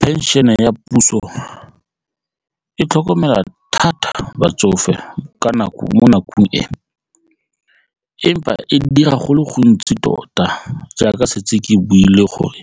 Pension-e ya puso e tlhokomela thata batsofe ka nako mo nakong e empa e dira go le gontsi tota jaaka setse ke buile gore